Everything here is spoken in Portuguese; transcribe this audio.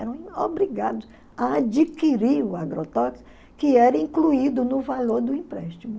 Eram obrigados a adquirir o agrotóxico, que era incluído no valor do empréstimo.